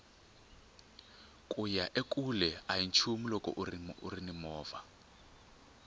kuya ekule ahi nchumu loko urini movha